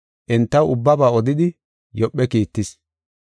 entaw ubbaba odidi Yoophe kiittis.